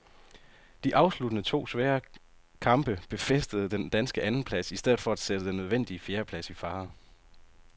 De afsluttende to svære kamp befæstede den danske andenplads i stedet for at sætte den nødvendige fjerdeplads i fare.